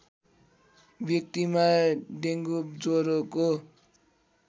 व्यक्तिमा डेङ्गु ज्वरोको